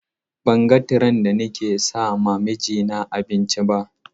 Ban ga tiren da nake sama mijina abinci ba.